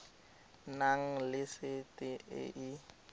nang le sete e e